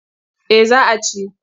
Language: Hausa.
Eh za a ci.